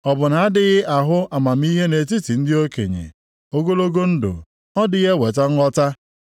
Ọ bụ na-adịghị ahụ amamihe nʼetiti ndị okenye? Ogologo ndụ, ọ dịghị eweta nghọta?